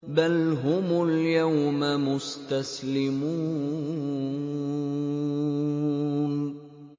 بَلْ هُمُ الْيَوْمَ مُسْتَسْلِمُونَ